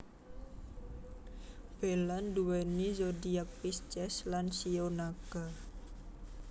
Bella nduweni zodiak Pisces lan shio Naga